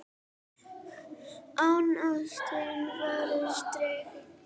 En ástin var sterk.